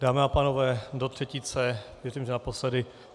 Dámy a pánové, do třetice, myslím, že naposledy.